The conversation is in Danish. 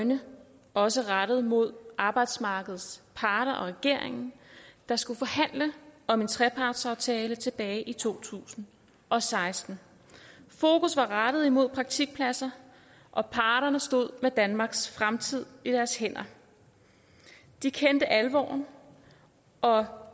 øjne også rettet mod arbejdsmarkedets parter og regeringen der skulle forhandle om en trepartsaftale tilbage i to tusind og seksten fokus var rettet imod praktikpladser og parterne stod med danmarks fremtid i deres hænder de kendte alvoren og